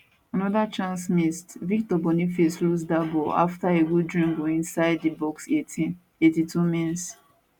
anoda chance missedvictor boniface lose dat ball afta a good dribble inside di box 18 82mins